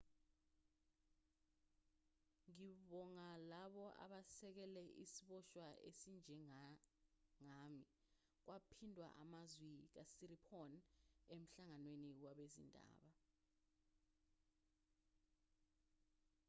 ngibonga labo abasekele isiboshwa esinjengami kwaphindwa amazwi kasiriporn emhlanganweni wabezindaba